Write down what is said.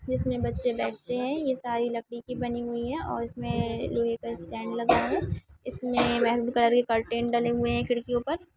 जिस मे बच्चे बैठते है ये सारी लकड़ी की बनी हुई है और इसमे स्टैन्ड लगा है इसमे मैरून कलर के कर्टन डले हुए है खिड़कियों पर।